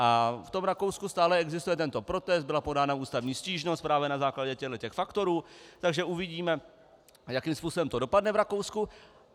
A v tom Rakousku stále existuje tento protest, byla podána ústavní stížnost právě na základě těchto faktorů, takže uvidíme, jakým způsobem to dopadne v Rakousku.